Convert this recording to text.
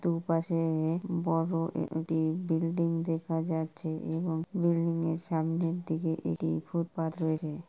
দুপাশে বড়ো এ-এ-এটি বিল্ডিং দেখা যাচ্ছে এবং বিল্ডিং য়ের সামনের দিকে এটি ফুটপাত রয়েছে ।